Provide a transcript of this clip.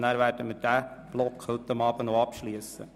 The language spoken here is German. Danach werden wir den Block 6.g abschliessen.